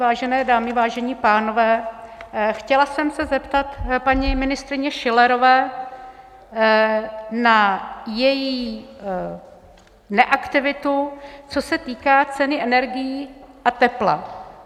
Vážené dámy, vážení pánové, chtěla jsem se zeptat paní ministryně Schillerové na její neaktivitu, co se týká ceny energií a tepla.